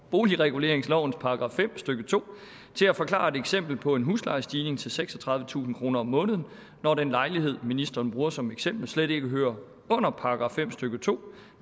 boligreguleringslovens § fem stykke to til at forklare et eksempel på en huslejestigning til seksogtredivetusind kroner om måneden når den lejlighed ministeren bruger som eksempel slet ikke hører under § fem stykke to